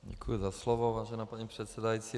Děkuji za slovo, vážená paní předsedající.